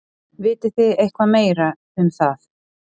Vitið þið eitthvað meira um það?